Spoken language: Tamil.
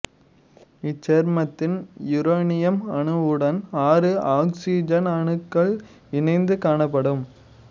இச்சேர்மத்தில் யுரேனியம் அணுவுடன் ஆறு ஆக்சிசன் அணுக்கள் இணைந்து காணப்படும்